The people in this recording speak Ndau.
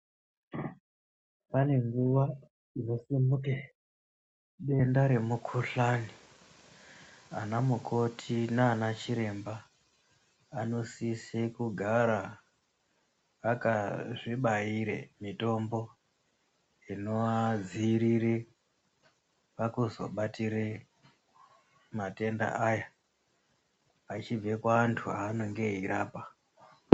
Pane nguwa inosimuke denda remukhuhlani. Ana mukoti nana chiremba anosise kugara akazvibaire mitombo inoadziirire pakuzobatire matenda aya achibve kuantu anenge eirapa.